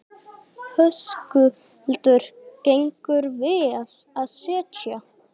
Höskuldur: Gengur vel að selja?